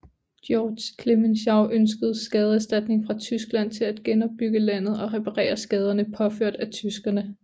Georges Clemenceau ønskede skadeserstatning fra Tyskland til at genopbygge landet og reparere skaderne påført af tyskerne